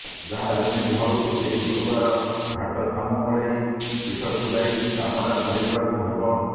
ଯାହା ଯେମିତି ହଉ ଏଇ ଗୁରୁବାର ଘାଟଶାମୁଳେଈ ପୀଠକୁ ଯାଇ କାମଟା ସାରିଦେବାକୁ ହବ